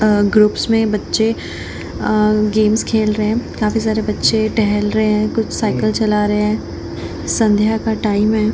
अ groups मे बच्चे अ गेम्स खेल रहे है काफी सारे बच्चे टहल रहे है कुछ साइकिल चला रहे है संध्या का टाइम है।